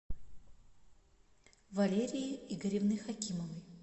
валерии игоревны хакимовой